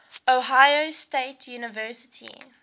ohio state university